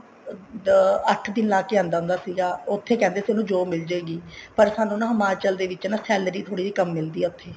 ਅਹ ਅੱਠ ਦਿਨ ਲਾਕੇ ਆਉਂਦਾ ਹੁੰਦਾ ਸੀਗਾ ਉੱਥੇ ਕਹਿੰਦੇ ਸੀ ਉਹਨੂੰ job ਮਿਲ੍ਜੇਗੀ ਪਰ ਸਾਨੂੰ ਨਾ ਹਿਮਾਚਲ ਦੇ ਵਿੱਚ ਨਾ salary ਥੋੜੀ ਜੀ ਕਮ ਮਿਲਦੀ ਆ ਉੱਥੇ